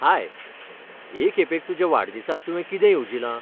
हाय, हे खेपेक तुज्या वाडदिसाक तुवें कितें येवजिलां?